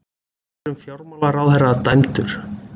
Fyrrum fjármálaráðherra dæmdur